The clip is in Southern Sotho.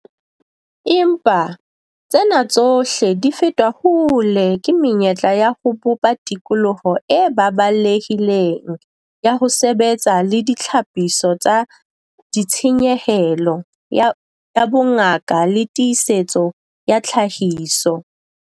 Empa, tsena tsohle di fetwa hole ke menyetla ya ho bopa tikoloho e baballehileng ya ho sebetsa le ditlhapiso tsa ditshenyehelo ya ya bongaka le tiisetso ya tlhahiso.